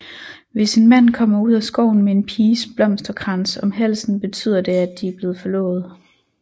Hvis en mand kommer ud af skoven med en piges blomsterkrans om halsen betyder det at de er blevet forlovet